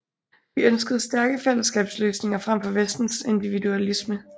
De ønskede stærke fællesskabsløsninger frem for vestens individualisme